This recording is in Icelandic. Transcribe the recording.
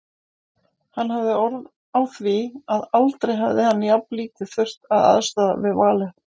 Hann hafði orð á því að aldrei hefði hann jafnlítið þurft að aðstoða við valið.